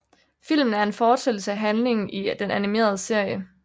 Filmen er en fortsættelse af handlingen i den animerede serie